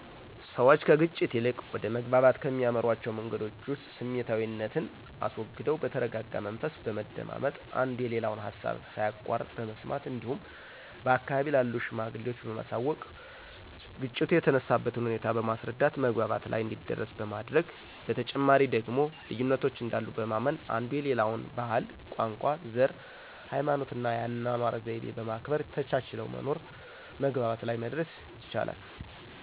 ሰዎች ከግጭት ይልቅ ወደ መግባባት ከሚያመሯቸዉ መንገዶች ዉስጥ ስሜታዊነትን አስወግደው በተረጋጋ መንፈስ በመደማመጥ፣ አንዱ የሌላውን ሀሳብ ሳያቋርጥ በመስማት እንዲሁም በአካባቢው ላሉ ሽማግሌዎች በማሳወቅ ግጭቱ የተነሳበትን ሁኔታ በማስረዳት መግባባት ላይ እንዲደረስ በማድረግ፤ በተጨማሪ ደግሞ ልዩነቶች እንዳሉ በማመን አንዱ የሌላውን ባህል፣ ቋንቋ፣ ዘር፣ ሀይማኖትና የአኗኗር ዘይቤ በማክበር ተቻችለው በመኖር መግባባት ላይ መድረስ ይቻላል።